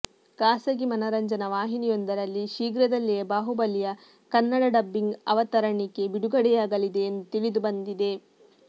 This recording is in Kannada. ಖಾಸಗಿ ಮನರಂಜನಾ ವಾಹಿನಿಯೊಂದರಲ್ಲಿ ಶೀಘ್ರದಲ್ಲಿಯೇ ಬಾಹುಬಲಿಯ ಕನ್ನಡ ಡಬ್ಬಿಂಗ್ ಅವತರಣಿಕೆ ಬಿಡುಗಡೆಯಾಗಲಿದೆ ಎಂದು ತಿಳಿದುಬಂದಿದೆ